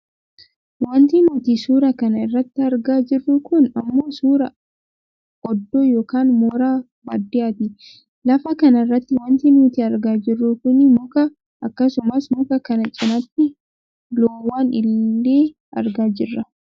Wanti nuti suuraa kana irratti argaa jirru kun ammoo suuraa oddoo yookaan mooraa baadiyyaati. Lafa kanarratti wanti nuti argaa jirru kunii muka akkasumas muka kana cinaatti loowwan illee argaa jirra.